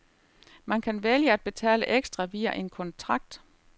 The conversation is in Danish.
Man kan vælge at betale ekstra via en kontrakt.